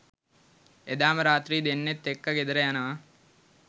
එදාම රාත්‍රී දෙන්නත් එක්ක ගෙදර යනවා